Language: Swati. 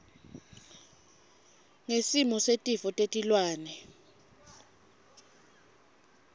ngesimo setifo tetilwane